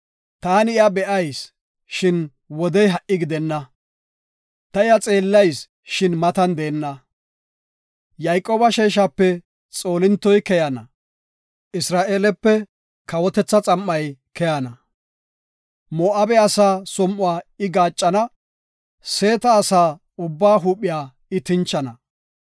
“Taani iya be7ayis, shin wodey ha7i gidenna; ta iya xeellayis, shin matan deenna. Yayqooba sheeshape xoolintoy keyana; Isra7eelepe kawotetha xam7ay keyana. Moo7abe asaa som7uwa I gaaccana; Seeta asaa ubbaa huuphiya I tinchana.